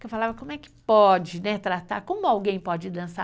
Porque eu falava, como é que pode tratar, como alguém pode dançar?